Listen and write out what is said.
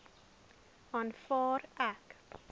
aanvaar ek